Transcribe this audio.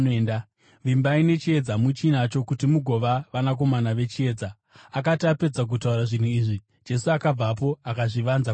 Vimbai nechiedza muchinacho, kuti mugova vanakomana vechiedza.” Akati apedza kutaura zvinhu izvi, Jesu akabvapo akazvivanza kwavari.